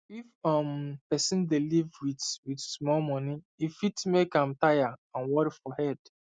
if um person dey live with with small money e fit make am tire and worry for head